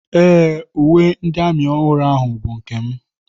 Ee, uwe ndị amị ọhụrụ ahụ bụ nke m.